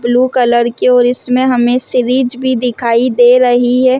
Blue colour की और इसमें हमें सीरीज भी दिखाई दे रही है।